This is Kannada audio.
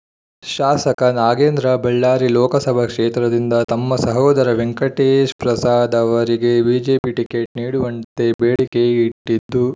ಶಾಸಕ ನಾಗೇಂದ್ರ ಬಳ್ಳಾರಿ ಲೋಕಸಭಾ ಕ್ಷೇತ್ರದಿಂದ ತಮ್ಮ ಸಹೋದರ ವೆಂಕಟೇಶ್‌ಪ್ರಸಾದ್ ಅವರಿಗೆ ಬಿಜೆಪಿ ಟಿಕೆಟ್ ನೀಡುವಂತೆ ಬೇಡಿಕೆ ಇಟ್ಟಿದ್ದು